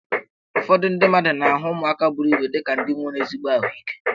Ụfọdụ ndị mmadụ na-ahụ ụmụaka buru ibu dị ka ndị nwere ezigbo ahụike